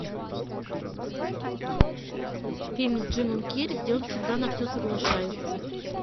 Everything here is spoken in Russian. фильм с джимом керри где он всегда на все соглашается